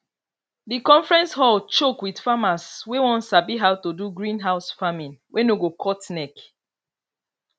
the conference hall choke with farmers wey wan sabi how to do greenhouse farming wey no go cut neck